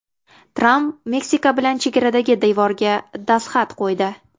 Tramp Meksika bilan chegaradagi devorga dastxat qo‘ydi.